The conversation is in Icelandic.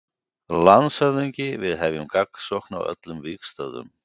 LANDSHÖFÐINGI: Við hefjum gagnsókn á öllum vígstöðvum.